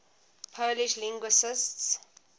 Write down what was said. polish linguists